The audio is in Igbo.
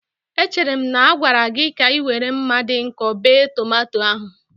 Echere m na a gwara gị ka ị were mma dị nkọ bee tomato ahu.